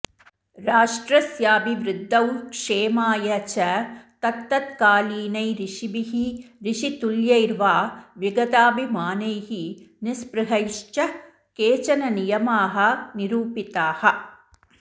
राष्ट्रस्याभिवृध्दौ क्षेमाय च तत्तत्कालीनै ऋषिभिः ऋषितुल्यैर्वा विगताभिमानैः निस्पृहैश्च केचन नियमाः निरुपिताः